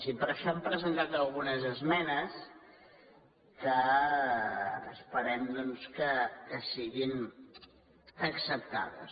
i per això hem presentat algunes esmenes que esperem doncs que siguin acceptades